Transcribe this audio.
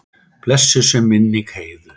Blessuð sé minning Heiðu.